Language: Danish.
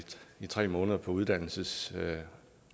tre måneder på uddannelsesorlov